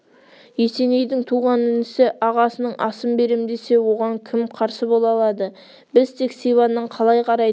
есенейдің туған інісі ағасының асын берем десе оған кім қарсы болады біз тек сибанның қалай қарайтынын